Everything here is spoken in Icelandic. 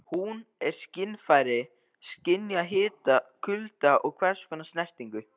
Hún er skynfæri- skynjar hita, kulda og hvers konar snertingu.